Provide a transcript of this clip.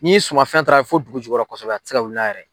N'i sumafɛn taara fo dugu jukɔrɔ kosɛbɛ a tɛ se ka wili n'a yɛrɛ.